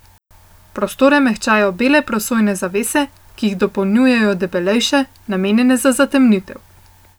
Prostore mehčajo bele prosojne zavese, ki jih dopolnjujejo debelejše, namenjene za zatemnitev.